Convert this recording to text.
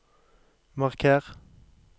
marker